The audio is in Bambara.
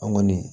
An kɔni